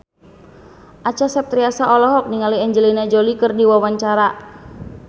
Acha Septriasa olohok ningali Angelina Jolie keur diwawancara